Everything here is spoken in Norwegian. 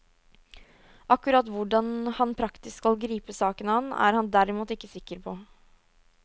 Akkurat hvordan han praktisk skal gripe saken an, er han derimot ikke sikker på.